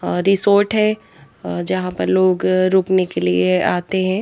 Resort है अह यहां पर लोग रुकने के लिए आते हैं।